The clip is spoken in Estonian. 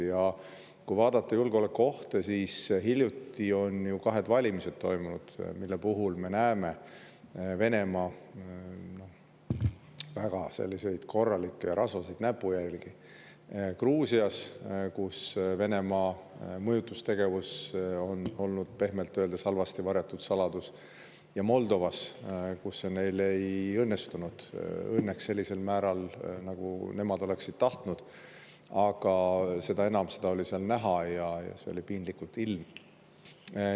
Ja kui vaadata julgeolekuohte, siis hiljuti toimusid ju kahed valimised, mille puhul me näeme Venemaa väga korralikke rasvaseid näpujälgi: Gruusias, kus Venemaa mõjutustegevus on olnud pehmelt öeldes halvasti varjatud saladus, ja Moldovas, kus see neil ei õnnestunud õnneks sellisel määral, nagu nemad oleksid tahtnud, aga seda enam oli seda seal näha ja see oli piinlikult ilmne.